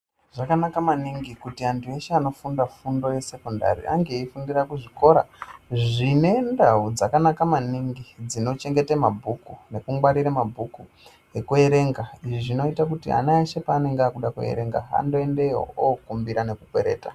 Zvakanaka maningi kuti antu eshe anofunda fundo yesekondari ange eikumbura kuzvikora zvine ndau dzakanaka maningi dzinokuchengeta mabhuku nekungwarira mabhuku ekuerenga zvinoita kuti ana eshe paanenge akuda kuerenga andoendeyo nekokwereta.